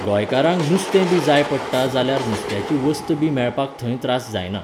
गोंयकारांक नुस्तें बी जाय पडटा जाल्यार नुस्त्याची वस्त बी मेळपाक थंय त्रास जायना.